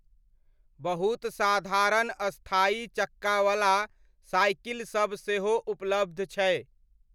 बहुत साधारण स्थायी चक्कावला साइकिलसब सेहो उपलब्ध छै।